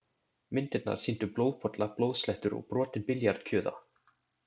Myndirnar sýndu blóðpolla, blóðslettur og brotinn billjard kjuða.